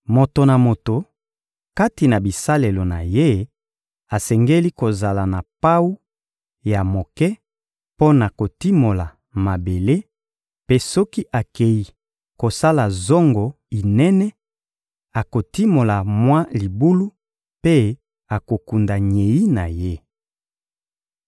Moto na moto, kati na bisalelo na ye, asengeli kozala na pawu ya moke mpo na kotimola mabele; mpe soki akei kosala zongo inene, akotimola mwa libulu mpe akokunda nyei na ye.